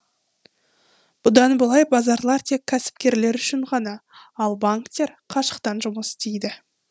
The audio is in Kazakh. бұдан былай базарлар тек кәсіпкерлер үшін ғана ал банктер қашықтан жұмыс істейді